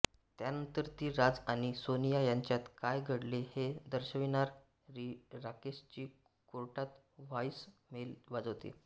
त्यानंतर ती राज आणि सोनिया यांच्यात काय घडले हे दर्शविणारी राकेशची कोर्टात व्हॉईस मेल वाजवते